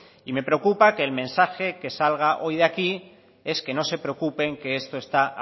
y me preocupa que el mensaje que salga hoy de aquí es que no se preocupen que esto está